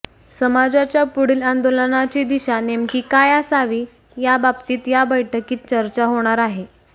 समाजाच्या पुढील आंदोलनाची दिशा नेमकी काय असावी याबाबतीत या बैठकीत चर्चा होणार आहे